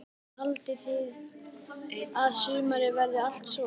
Kristján: Haldið þið að sumarið verið allt svona?